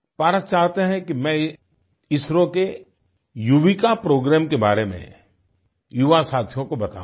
पारस चाहते हैं कि मैं इसरो के युविका प्रोग्राम के बारे में युवासाथियों को बताऊँ